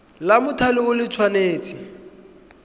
la mothale o le tshwanetse